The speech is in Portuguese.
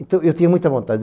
Então, eu tinha muita vontade.